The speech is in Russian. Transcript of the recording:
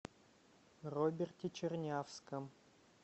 роберте чернявском